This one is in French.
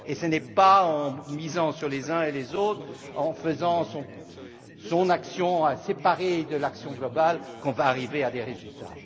pas d'autres. Ce n'est pas en misant sur les uns ou les autres, en menant une action séparée de l'action globale que nous arriverons à des